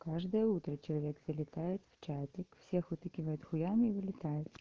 каждое утро человек залетает в чатик всех утыкивает хуями и улетает